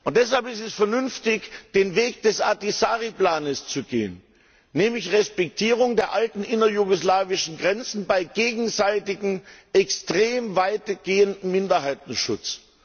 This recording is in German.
Deshalb ist es vernünftig, den Weg des Ahtisaari Plans zu gehen, nämlich Respektierung der alten innerjugoslawischen Grenzen bei gegenseitigem extrem weitgehenden Minderheitenschutz.